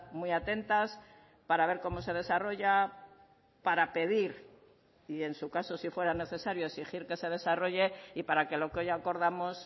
muy atentas para ver cómo se desarrolla para pedir y en su caso si fuera necesario exigir que se desarrolle y para que lo que hoy acordamos